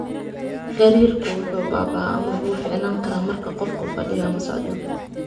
Gariirku wuu baaba'aa ama wuu fiicnaan karaa marka qofku fadhiyo ama socdo.